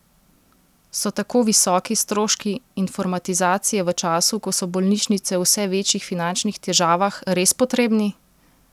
So tako visoki stroški informatizacije v času, ko so bolnišnice v vse večjih finančnih težavah, res potrebni?